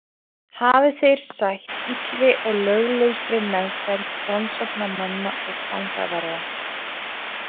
Hafi þeir sætt illri og löglausri meðferð rannsóknarmanna og fangavarða.